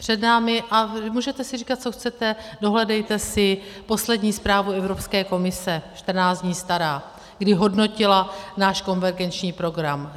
Před námi - a můžete si říkat, co chcete, dohledejte si poslední zprávu Evropské komise 14 dní starou, kdy hodnotila náš konvergenční program.